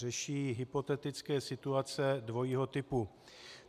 Řeší hypotetické situace dvojího typu.